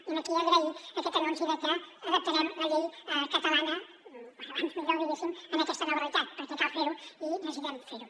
i aquí agrair aquest anunci de que adaptarem la llei catalana com abans millor diguéssim a aquesta nova realitat perquè cal fer ho i necessitem fer ho